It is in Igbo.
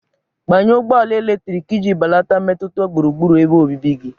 Gbanye ụgbọ ala eletrik iji belata mmetụta gburugburu ebe obibi gị.